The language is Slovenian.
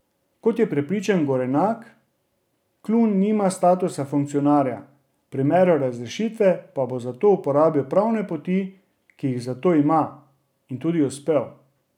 Kot je prepričan Gorenak, Klun nima statusa funkcionarja, v primeru razrešitve pa bo zato uporabil pravne poti, ki jih za to ima, in tudi uspel.